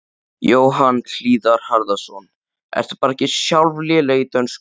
Jóhann Hlíðar Harðarson: Ertu bara ekki sjálf léleg í dönsku?